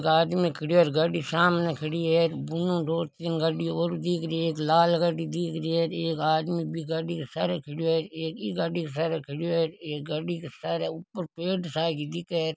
एक आदमी खड़यो है गाड़ी सामने खड़ी है बुनु दो तीन गाड़ी और दिख रही है एक लाल गाड़ी दिख रही है एक आदमी बी गाड़ी के सारे खड़यो है एक ई गाड़ी के सारे खड़यो है एक गाड़ी के सारे ऊपर पेड़ सा क दिखे है।